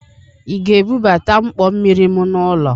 Ị ga-ebubata mkpọ mmiri m n'ụlọ?